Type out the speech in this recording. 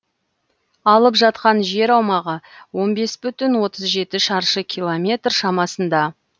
алып жатқан жер аумағы он бес бүтін отыз жеті шаршы километр шамасында